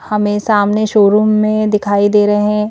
हमें सामने शोरूम में दिखाई दे रहे हैं।